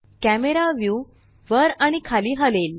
camera view वर आणि खाली हलेल